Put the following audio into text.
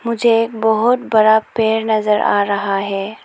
मुझे बहुत बड़ा पेड़ नजर आ रहा है।